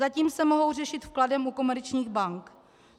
Zatím se mohou řešit vkladem u komerčních bank.